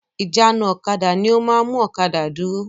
Ìjánu-ọ̀kadà ni ó máa ń mú ọ̀kadà dúró.